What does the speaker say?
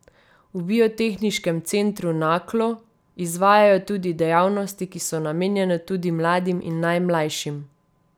V Biotehniškem centru Naklo izvajajo tudi dejavnosti, ki so namenjene tudi mladim in najmlajšim.